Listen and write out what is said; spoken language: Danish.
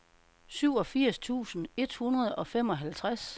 syvogfirs tusind et hundrede og femoghalvtreds